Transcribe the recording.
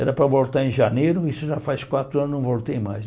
Era para voltar em janeiro, isso já faz quatro anos, não voltei mais.